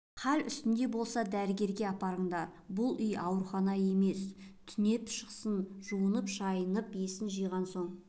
хал үстінде болса дәрігерге апарыңдар бұл үй аурухана емес қой түнеп шықсын жуынып-шайынып есін жиған соң